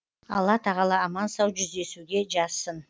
алла тағала аман сау жүздесуге жазсын